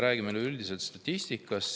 Räägime ka üldisest statistikast.